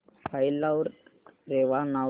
file ला रेवा नाव दे